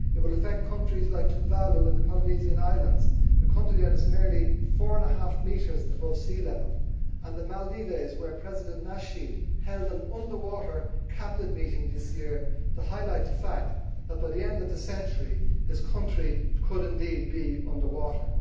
It will affect countries like Tuvalu in the Polynesian islands a country that is merely four and a half metres above sea level and the Maldives, where President Nasheed held an underwater cabinet meeting this year to highlight the fact that by the end of the century, his country could indeed be under water.